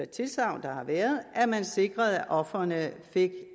tilsagn der har været at man sikrede at ofrene fik